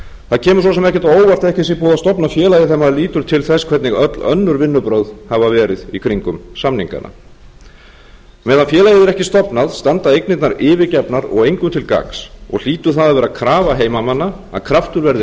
það kemur svo sem ekkert á óvart að ekki sé búið að stofna félagið þegar maður lítur til þess hvernig öll önnur vinnubrögð hafa verið í kringum samningana með félagið hefur ekki verið stofnað standa eignirnar yfirgefnar og engum til gagns og hlýtur það að vera krafa heimamanna að kraftur verði